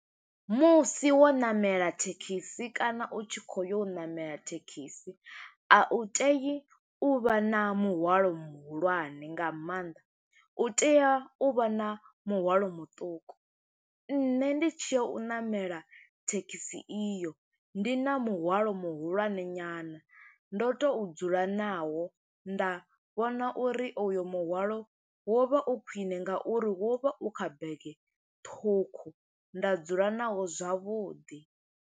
Musi wo ṋamela thekhisi kana u tshi khou yo ṋamela thekhisi, a u tei u vha na muhwalo muhulwane nga maanḓa. U tea u vha na muhwalo muṱuku. Nṋe ndi tshi ya u ṋamela thekhisi iyo, ndi na muhwalo muhulwane nyana, ndo to dzula nawo. Nda vhona uri uyo muhwalo wo vha u khwiṋe nga uri wo vha u kha bege ṱhukhu, nda dzula nawo zwavhuḓi.